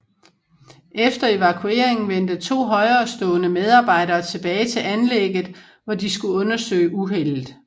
Efter evakueringen vendte to højerestående medarbejdere tilbage til anlægget hvor de skulle undersøge uheldet